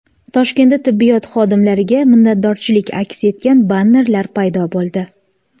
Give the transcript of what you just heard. Toshkentda tibbiyot xodimlariga minnatdorchilik aks etgan bannerlar paydo bo‘ldi .